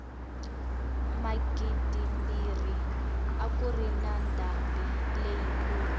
magidimbirhi a kuri na ndhambi leyi kulu